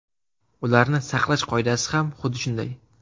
Ularni saqlash qoidasi ham xuddi shunday.